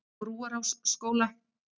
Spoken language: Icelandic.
Brúarásskóla